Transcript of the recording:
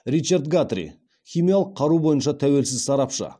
ричард гатри химиялық қару бойынша тәуелсіз сарапшы